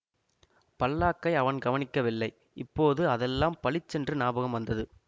பல்லாக்கை அவன் கவனிக்கவில்லை இப்போது அதெல்லாம் பளிச்சென்று ஞாபகம் வந்தது